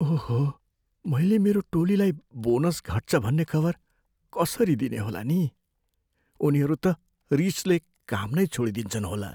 ओहो! मैले मेरो टोलीलाई बोनस घट्छ भन्ने खबर कसरी दिने होला नि? उनीहरू त रिसले काम नै छोडिदिन्छन् होला!